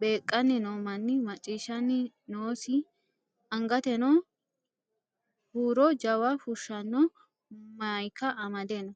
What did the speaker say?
beeqqanni no manni maccishshanni noosi angateno huuro jawa fushshanno mayika amade no.